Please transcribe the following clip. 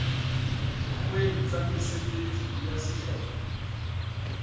dikgeong tsa mesebetsi ya sehlopha